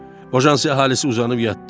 Bojansi əhalisi uzanıb yatdı.